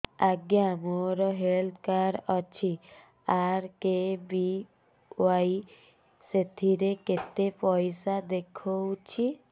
ଆଜ୍ଞା ମୋର health card ଅଛି ଆର୍.କେ.ବି.ୱାଇ ସେଥିରେ କେତେ ପଇସା ଦେଖଉଛି